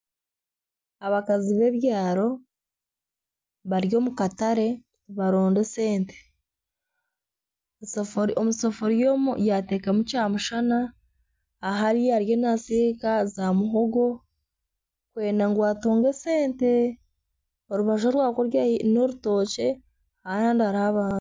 Abakazi b'ebyaro bari omu katare nibaronda esente. Omu sefuriya, omu sefuriya omu yateekamu kyamushana. Ahari ariyo naasiika zaamuhogo kwenda ngu atungye esente, orubaju orwa kuriya n'orutookye ahandi hariho abantu